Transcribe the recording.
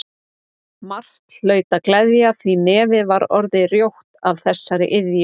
Margt hlaut að gleðja því nefið var orðið rjótt af þessari iðju.